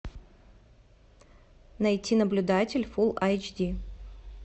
найти наблюдатель фулл айч ди